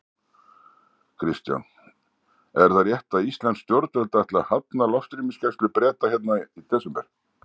Kristján: Er það rétt að íslensk stjórnvöld ætli að hafna loftrýmisgæslu Breta hérna í desember?